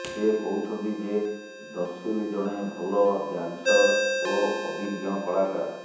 ସେ କହୁଛନ୍ତି ଯେ ଦର୍ଶୀଲ୍ ଜଣେ ଭଲ ଡାନସର୍ ଏବଂ ଅଭିଜ୍ଞ କଳାକାର